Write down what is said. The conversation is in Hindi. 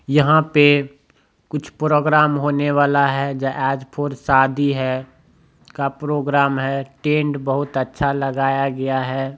यहां पे कुछ प्रोग्राम होने वाला हैं ज ऐज फोर शादी हैं का प्रोग्राम हैं टेड बहुत अच्छा लगाया गया हैं।